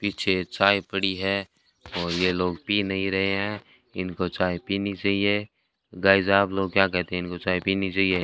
पीछे चाय पड़ी है और यह लोग पी नहीं रहे हैं इनको चाय पीनी चाहिए गाइस आप लोग क्या कहते हैं इनको चाय पीनी चाहिए।